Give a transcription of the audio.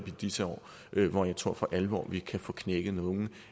i disse år hvor jeg tror for alvor kan få knækket nogle